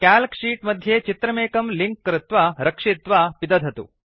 calc sheet मध्ये चित्रमेकं link कृत्वा रक्षित्वा पिदधतु